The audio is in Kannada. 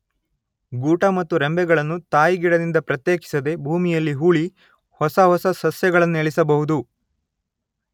ಗೂಟ ಮತ್ತು ರೆಂಬೆಗಳನ್ನು ತಾಯಿಗಿಡದಿಂದ ಪ್ರತ್ಯೇಕಿಸದೆ ಭೂಮಿಯಲ್ಲಿ ಹೂಳಿ ಹೊಸ ಹೊಸ ಸಸ್ಯಗಳನ್ನೇಳಿಸಬಹುದು.